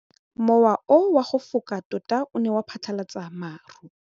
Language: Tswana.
Mowa o wa go foka tota o ne wa phatlalatsa maru.